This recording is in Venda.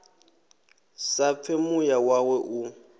sa pfe muya wawe u